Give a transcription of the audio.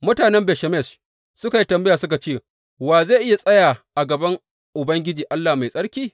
Mutanen Bet Shemesh suka yi tambaya suka ce, wa zai iya tsaya a gaban Ubangiji Allah Mai Tsarki?